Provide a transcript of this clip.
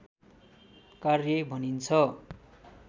कार्य भनिन्छ